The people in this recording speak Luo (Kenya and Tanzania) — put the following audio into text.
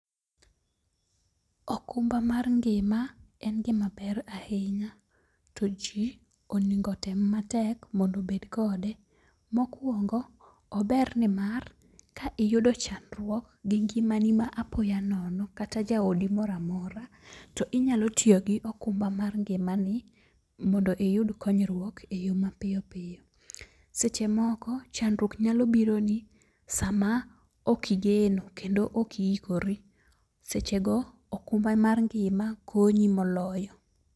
Okumba mar ngima en gima ber ahinya to ji onego tem matek maondo bed kode. Mokwongo, ober ni mar ka iyudo chandruok gi ngima ni ma apoya nono kata jaodi moramora. To inyalo tiyo gi okumba mar ngima ni mondo iyud konyruok e yo mapiyo piyo. Seche moko chandruok nyalo biro ni sama ok igeno kendo ok iikori. Seche go okumba mar ngima konyi moloyo.